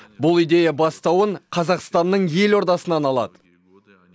бұл идея бастауын қазақстанның елордасынан алады